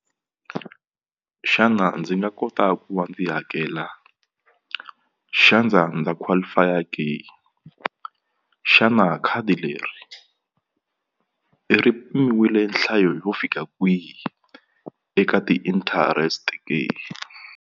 Xana ndzi nga kota ku va ndzi hakela ndza qualify ke xana khadi leriri pimiwile nhlayo yo fika kwihi eka ti-interest ke?